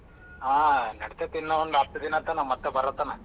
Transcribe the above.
ಹಾ ನೆಡಿತದಿನ್ನ ಒಂದ್ ಹತ್ತದಿನ ತಾನ ಮತ್ತ್ ಬರತನ.